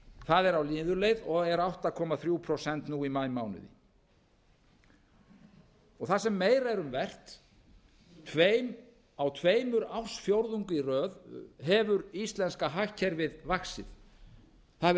það er á niðurleið og er átta komma þrjú prósent nú í maímánuði það sem meira er um vert á tveimur ársfjórðungum í röð hefur íslenska hagkerfið vaxið það hefur